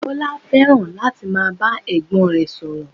Bọlá fẹ́ràn láti máa bá ẹ̀gbọ́n rẹ̀ sọ̀rọ̀